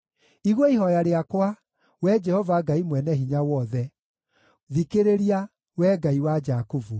Igua ihooya rĩakwa, Wee Jehova Ngai-Mwene-Hinya-Wothe; thikĩrĩria, Wee Ngai wa Jakubu.